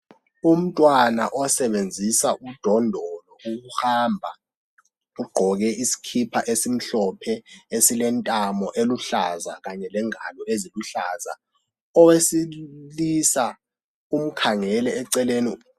Umntwana osebenzisa udondolo ukuhamba ugqoke isikipa esimhlophe esilentamo eluhlaza kanye lengalo eziluhlaza, owesilisa umkhangele eceleni.